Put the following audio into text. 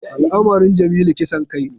Al’amarin Jamilu kisan kai ne.